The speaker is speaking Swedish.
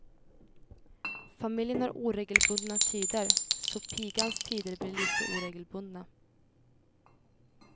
Familjen har oregelbundna tider, så pigans tider blir lika oregelbundna.